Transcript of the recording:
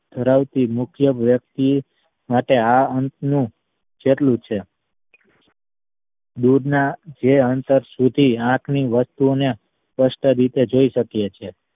ધરાવતી મુખ્ય વ્યક્તિ માટે આ અંશ નું જેટલું છે દૂરના જે અંતર સુધી આંખ ની વસ્તુ ઓ ને સ્પષ્ટ રીતે જોઈ શકીયે છીએ